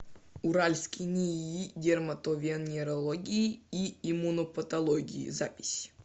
уральский нии дерматовенерологии и иммунопатологии запись